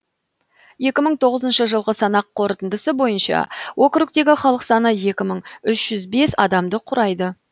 екі мың тоғызншы жылғы санақ қорытындысы бойынша округтегі халық саны екі мың үш жүз бес адамды құрайды